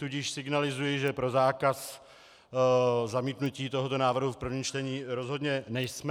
Tudíž signalizuji, že pro zákaz, zamítnutí tohoto návrhu v prvním čtení rozhodně nejsme.